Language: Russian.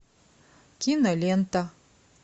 кинолента